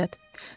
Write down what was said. Əlahəzrət.